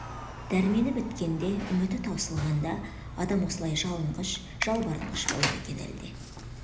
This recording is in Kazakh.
дәрмені біткенде үміті таусылғанда адам осылай жалынғыш жалбарынғыш бола ма екен әлде